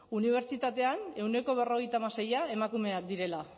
unibertsitatean ehuneko berrogeita hamaseia emakumeak direla